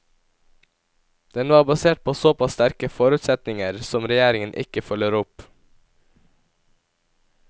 Den var basert på såpass sterke forutsetninger som regjeringen ikke følger opp.